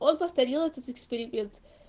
он повторил этот эксперимент